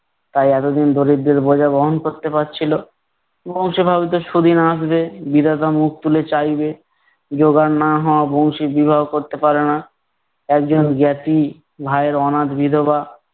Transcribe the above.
তাই এতদিন দরিদ্রের বোঝা বহন করতে পারছিল। বংশী ভাবিত সুদিন আসবে, বিধাতা মুখ তুলে চাইবে। জোগাড় না হওয়া বংশী বিবাহ করতে পারে না, একজন জ্ঞাতি ভাইয়ের অনাথ বিধবা